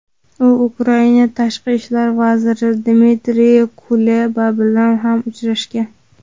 u Ukraina Tashqi ishlar vaziri Dmitriy Kuleba bilan ham uchrashgan.